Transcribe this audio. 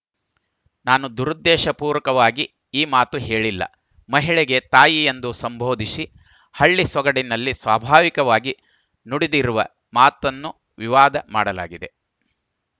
ನಾನು ದುರುದ್ದೇಶಪೂರಕವಾಗಿ ಈ ಮಾತು ಹೇಳಿಲ್ಲ ಮಹಿಳೆಗೆ ತಾಯಿ ಎಂದು ಸಂಬೋಧಿಸಿ ಹಳ್ಳಿ ಸೊಗಡಿನಲ್ಲಿ ಸ್ವಾಭಾವಿಕವಾಗಿ ನುಡಿದಿರುವ ಮಾತನ್ನು ವಿವಾದ ಮಾಡಲಾಗಿದೆ